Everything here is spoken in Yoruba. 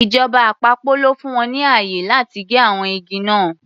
Ìjọba àpapọ̀ ló fún wọn ní ààyè láti gé àwọn igi náà.